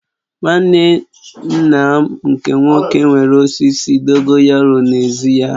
Nwanne nna m nke nwoke nwere osisi dogoyaru n'ezi ya